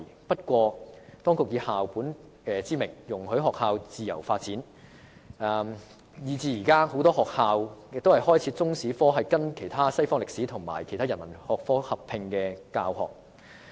不過，當局以校本之名容許學校自由發展，以致現時很多學校將中史與西方歷史或其他人文學科合併教學。